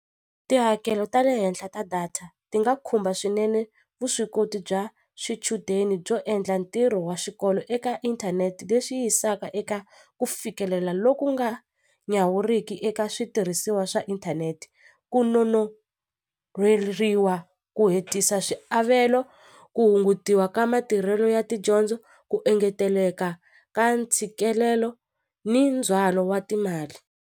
Tihakelo ta le henhla ta data ti nga khumba swinene vuswikoti bya swichudeni byo endla ntirho wa xikolo eka inthanete leswi yisaka eka ku fikelela loku nga nyawuriki eka switirhisiwa ina swa inthanete ku nonoheriwaku hetisa swiavelo ku hungutiwa ka matirhelo ya tidyondzo ku engeteleka ka ntshikelelo ni ndzhwalo wa timali.